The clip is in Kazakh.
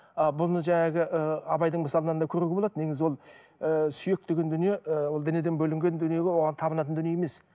ы бұны ы абайдың мысалынан да көруге болады негізі ол ііі сүйек деген дүние ы ол денеден бөлінген дүние оған табынатын дүние емес